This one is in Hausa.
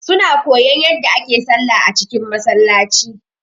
Su na koyan yadda ake sallah a cikin Masallaci